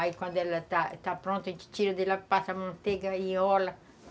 Aí quando ela está está pronta, a gente tira dela, passa manteiga e enrola.